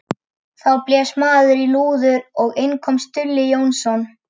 Þá blés maður í lúður og inn kom Stulli Jónsson.